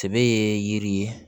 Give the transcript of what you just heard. Sɛbɛ ye yiri ye